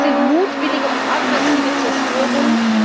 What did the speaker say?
Es sind mutwillige und aggressive Zerstörungen.